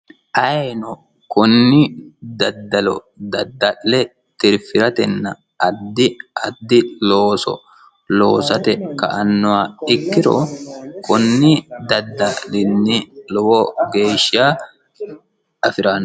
ayeno kunni daddalo dadda'le tirfi'ratenna addi addi looso loosate ka annowa ikkiro kunni daddalinni lowo geeshsha afi'ranno